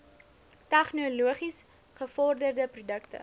tegnologies gevorderde produkte